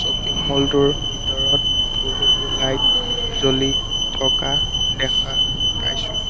Shopping mall টোৰ ভিতৰত বহুতো লাইট জ্বলি থকা দেখা পাইছোঁ।